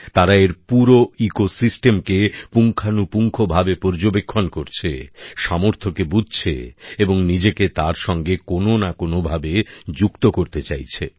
তারা এর পুরো বাস্তুতন্ত্রকে পুঙ্খানুপুঙ্খ ভাবে পর্যবেক্ষণ করছে সামর্থকে বুঝছে এবং নিজেকে তার সঙ্গে কোনো না কোনো ভাবে যুক্ত করতে চাইছে